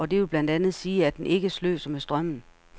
Og det vil blandt andet sige, at den ikke sløser med strømmen.